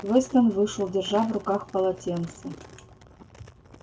вестон вышел держа в руках полотенце